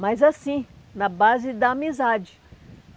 Mas assim, na base da amizade.